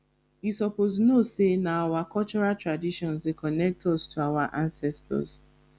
you suppose know sey na our cultural traditions dey connect us to our ancestors